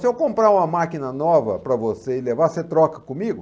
Se eu comprar uma máquina nova para você e levar, você troca comigo?